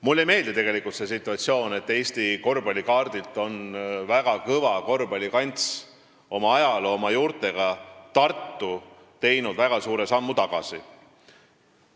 Mulle ei meeldi see situatsioon, et Eesti korvpallikaardil on oma ajaloo ja juurte poolest väga kõva korvpallikants Tartu väga suure sammu tagasi astunud.